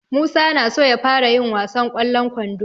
Musa na so ya fara yin wasan ƙwallon kwando.